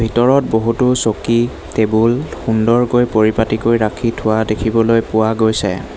ভিতৰত বহুতো চকী টেবুল সুন্দৰকৈ পৰিপাটীকৈ ৰাখি থোৱা দেখিবলৈ পোৱা গৈছে।